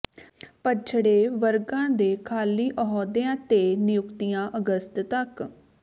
ਪੱਛੜੇ ਵਰਗਾਂ ਦੇ ਖਾਲੀ ਅਹੁਦਿਆਂ ਤੇ ਨਿਯੁਕਤੀਆਂ ਅਗਸਤ ਤੱਕ